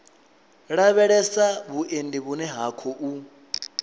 lavhelesa vhuendi vhune ha khou